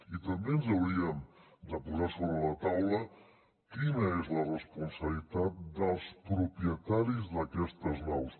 i també ens hauríem de posar sobre la taula quina és la responsabilitat dels propietaris d’aquestes naus